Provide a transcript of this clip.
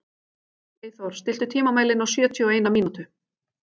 Eyþór, stilltu tímamælinn á sjötíu og eina mínútur.